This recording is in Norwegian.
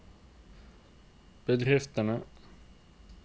bedriftene